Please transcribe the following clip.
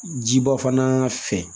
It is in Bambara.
Jiba fana fɛ